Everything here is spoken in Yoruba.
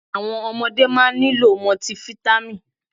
Àwọn ọmọdé máa nílò mọtifítámì.